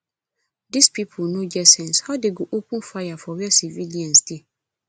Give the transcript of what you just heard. dis people no get sense how dey go open fire for where civilians dey